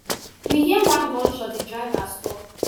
we hear one gunshot di driver stop